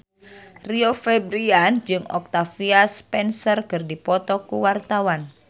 Rio Febrian jeung Octavia Spencer keur dipoto ku wartawan